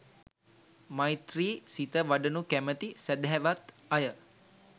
මෛත්‍රී සිත වඩනු කැමති සැදැහැවත් අය